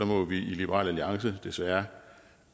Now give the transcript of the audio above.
må vi i liberal alliance desværre